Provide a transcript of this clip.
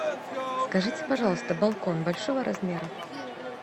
скажите пожалуйста балкон большого размера